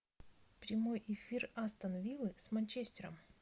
прямой эфир астон виллы с манчестером